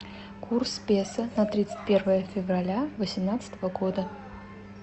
курс песо на тридцать первое февраля восемнадцатого года